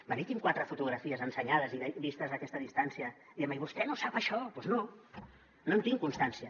venir aquí amb quatre fotografies ensenyades i vistes a aquesta distància i dient me i vostè no sap això doncs no no en tinc constància